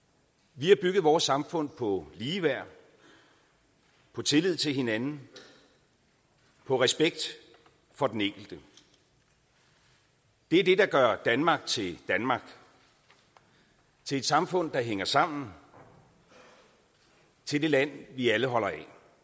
vi har bygget vores samfund på ligeværd på tillid til hinanden og på respekt for den enkelte det er det der gør danmark til danmark til et samfund der hænger sammen til det land vi alle holder af